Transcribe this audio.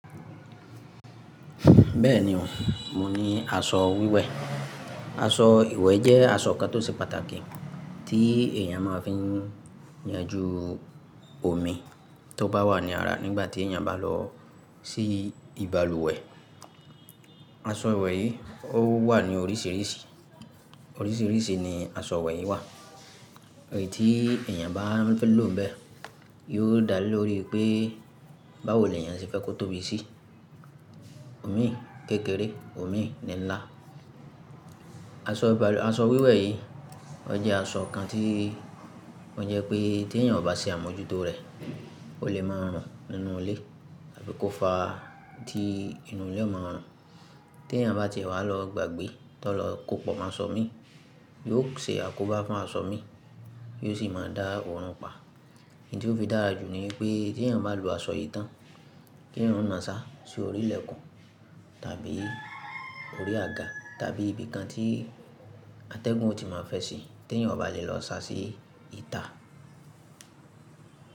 Bẹ́ẹ̀ni o, mo ní aṣọ wíwẹ̀. Aṣọ ìwẹ̀ jẹ́ aṣọ kan tó ṣe pàtàkì tí èèyàn máa fi ń yanjú omi tó bá wà ní ara nígbà tí èèyàn bá lọ sí ìbalùwẹ̀. Aṣọ ìwẹ̀ yìí ó wà ní oríṣiríṣi, oríṣiríṣi ni aṣọ ìwẹ̀ yìí wà. Ẹyí tí èèyàn baá fẹ́ lò bẹ́ẹ̀ yóò dá lóri pé báwoni èèyàn ṣe fẹ́ kó tóbi sí, omi kékeré, omi nińlá. Aṣọ ibalu aṣọ wíwẹ̀ yìí ó jẹ́ aṣọ kan tí ó jẹ́ pé tí èèyàn ò bá ṣe àmójútó rẹ̀ o lè máa rùn nínú ilé tàbí kó fà tii inú ilé o máa rùn. Tí èèyàn bá ti wà lọ gbàgbé tó lọ kó pọ̀ mọ́ aṣọ mi, yóò ṣe àkóbá fún aṣọ mi, yóò sì máa dá òórùn pa. Ẹyití ó fi dára jù ni pé tí èèyàn bá lo aṣọ yìí tán, kí èèyàn máa sa sí orí ilẹ̀kùn tàbí orí àga tàbí ibi kan tí atẹ́gùn ò tí máa fẹ́ si tí èèyàn ò bá lè lọ sa sí ìta.